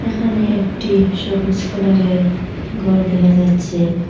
এখানে একটি সবুজ কালার -এর গর দেখা যাচ্ছে।